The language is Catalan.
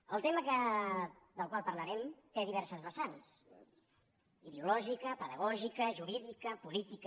el tema del qual parlarem té diverses vessants ideològica pedagògica jurídica política